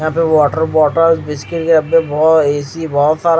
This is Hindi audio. यहां पे वाटर बॉटल बिस्किट के डब्बे बहो ए_सी बहुत सारा--